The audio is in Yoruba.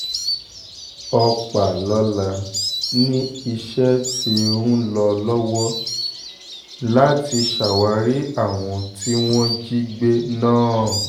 ọpàlọ́la ni iṣẹ́ tí ń lọ lọ́wọ́ láti ṣàwárí àwọn tí wọ́n jí gbé náà